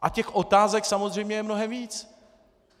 A těch otázek samozřejmě je mnohem víc.